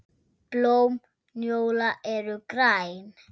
Blóm njóla eru græn.